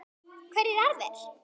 Hverjir aðrir?